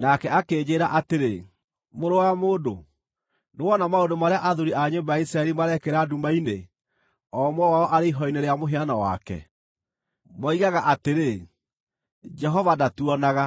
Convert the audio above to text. Nake akĩnjĩĩra atĩrĩ, “Mũrũ wa mũndũ, nĩwona maũndũ marĩa athuuri a nyũmba ya Isiraeli marekĩra nduma-inĩ, o ũmwe wao arĩ ihooero-inĩ rĩa mũhianano wake? Moigaga atĩrĩ, ‘Jehova ndatuonaga;